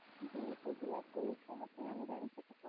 જી હું શ્રુતિ વાત કરું છું. આપનું નામ જાણી શકું છું?